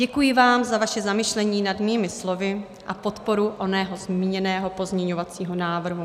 Děkuji vám za vaše zamyšlení nad mými slovy a podporu onoho zmíněného pozměňovacího návrhu.